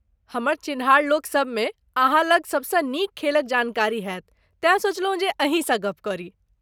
हमर चिन्हार लोक सभमें अहाँ लग सभसँ नीक खेलक जानकारी हैत तेँ सोचलहुँ जे अहीँ सँ गप्प करी।